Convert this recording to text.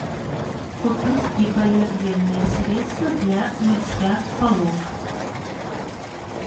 купить гипоаллергенное средство для мытья полов